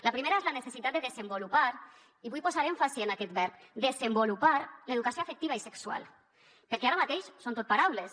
la primera és la necessitat de desenvolupar i vull posar èmfasi en aquest verb desenvolupar l’educació afectiva i sexual perquè ara mateix són tot paraules